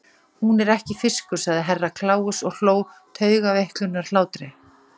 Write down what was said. Hún er ekki fiskur, sagði Herra Kláus og hló taugaveiklunarhlátri.